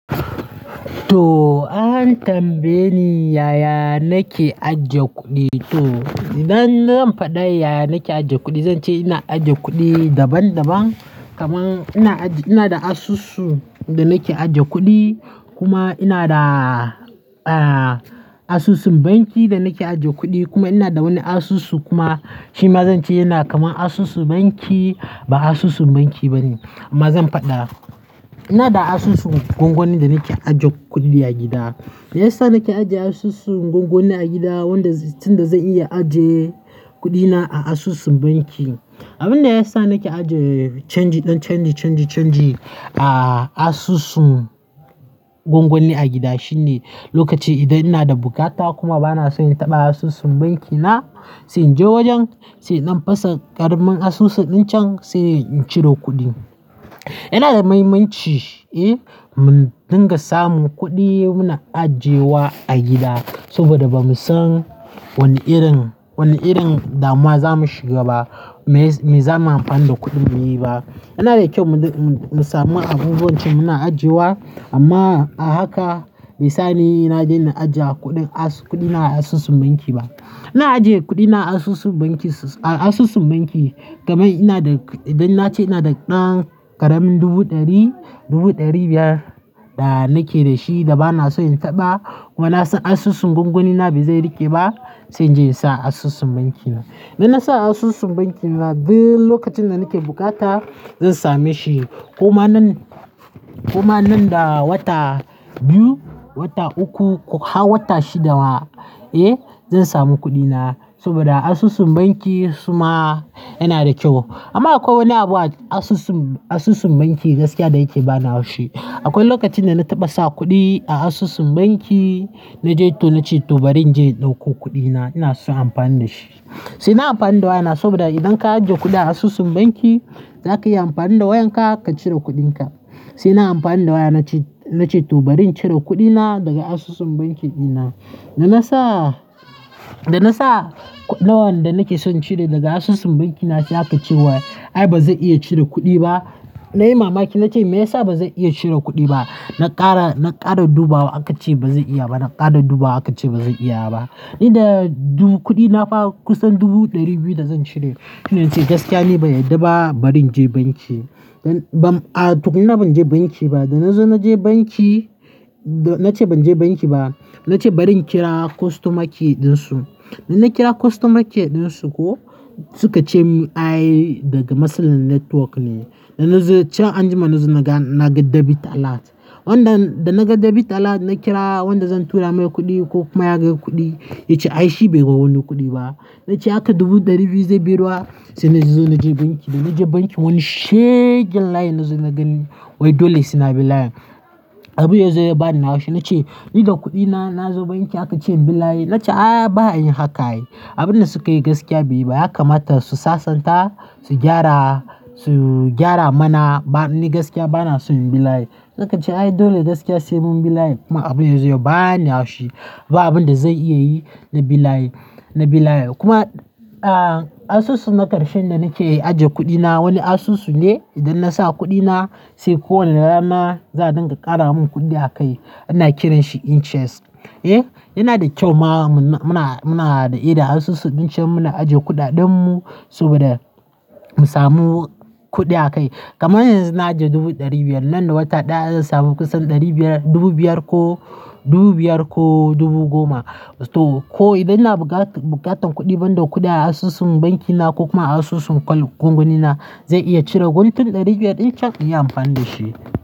To an tambaye ni yaya nake ajiye kuɗi. To idan zan faɗa yaya nake ajiye kuɗi, zan ce ina ajiye kuɗi daban daban. Kaman ina ajiye, ina da asusu da nake ajiye kuɗi, kuma ina da asusun banki da nake ajiye kuɗi kuma ina da wani asusu kuma shi ma zan ce yana kaman asusu banki ba asusun banki bane amma zan faɗa. Ina da asusun gwangwani da nake ajiye kuɗi a gida. Me yasa nake ajiye asusun gwangwani a gida wanda tunda zan iya ajiye kuɗina a asusun banki. Abin da yasa nake ajiye canji, ɗan canji, canji, canji a asusun. Gwangwani a gida shine lokaci idan ina da bukata kuma bana son in taɓa asusun banki na sai in je wajen, sai in ɗan fasa ƙaramin asusu ɗin can sai in ciro kuɗin. Yana da mahimmanci eh mu dinga samun kuɗi muna ajiyewa a gida saboda bamu san wane irin, wane irin damuwa za mu shiga ba, me zamu amfani da kuɗin mu yi ba. Yana da kyau mu samu abubuwan ci muna ajiyewa amma a haka misali na daina ajiye kuɗin as, kuɗi na a asusun banki ba. Ina ajiye kuɗi na a asusun banki, a asusun banki kamar ina da, idan na ce ina da ɗan ƙaramin dubu ɗari, dubu ɗari biyar da nake da shi da bana son in taɓa, kuma na san asusun gwangwani na ba zai riƙe ba sai in je in sa a asusun banki na. Idan na sa a asusun banki na duk lokacin da nake bukata zan sameshi. Kuma nan, kuma nan da wata biyu, wata uku ko har wata shidda ma, eh zan samu kuɗina saboda asusun banki su ma yana da kyau. Amma akwai wani abu a asusun, asusun banki gaskiya da yake bani haushi. Akwai lokacin da na taɓa sa kuɗi a asusun banki na je to na ce to bari in je in ɗauko kuɗi na ina son amfani da shi. Sai nai amfani da wayana saboda idan ka ajiye kuɗi a asusun banki zaka iya amfani da wayanka ka cire kuɗinka. Sai nai amfani da waya na ce, na ce to bari in cire kuɗina daga asusun banki ɗina. Da na sa, da na sa na wanda nake son cire daga asusun banki na shi aka ce wa ai ba zai iya cire kuɗi ba. Na yi mamaki na ce me yasa ba zai iya cire kuɗi ba? Na ƙara, na ƙara dubawa aka ce ba zai iya ba. Na ƙara dubawa aka ce ba zai iya ba. Ni da dun kuɗina fa kusan dubu ɗari biyu da zan cire. Shine na ce gaskiya ni ban yadda ba bari in je banki. A tukunni na ban je banki ba. Da na zo na je banki, da na ce ban je banki ba. Na ce bari in kira customer care ɗinsu. Da na kira customer care ɗinsu ko suka ce mun ai daga mutsalsn network ne. Da na zo cire anjima na zo na ga debit alert. Wanda da naga debit alert na kira wanda zan tura mai kuɗi ko kuma ya ga kuɗi ya ce ai shi bai ga wani kuɗi ba. Na ce aka dubu ɗari biyu zai bi ruwa. Sai na zo na je banki, da na je banki wani shegen line na zo na gani wai dole suna bi layin. Abin ya zo ya bani haushi na ce ni da kuɗina na zo banki aka ce in bi layi. Na ce a ba a yn haka ai. Abin da suka yi gaskiya bai yi ba, dya kamata su sassanta, su gyara, su gyara mana ba ni gaskiya bana so in bi layi. Na kan ce ai dole gaskiya sai mun bi layi, kuma abin ya zo ya bani haushi ba abin da zai iya yi na bi layi, na bi layi. Kuma a asusu na ƙarshen da nake ajiye kuɗi na, wani asusu ne idan na sa kuɗi na sai kowanne rana za a dinga ƙara mun kuɗi a kai ana kiranshi interest. Eh yana da kyau ma muna, muna da ida asusu ɗin can muna ajiye kuɗaɗen mu saboda. Mu samu kuɗi akai. Kamar yanzu na ajiye dubu ɗari biyar nan da wata ɗaya zan sami kusan ɗari biyar, dubu biyar ko dubu biyar ko dubu goma. To ko idan ina buƙatar kuɗi banda kuɗi a asusun banki na ko kuma a asusun gwangwani na zan iya cire guntun ɗari biyar ɗin can in yi amfani da shi.